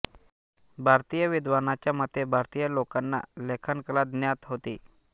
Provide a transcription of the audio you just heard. भारतीय विद्वानाच्या मते भारतीय लोकांना लेखनकला ज्ञात होती